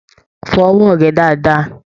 Fọ ọwọ rẹ dáadáa!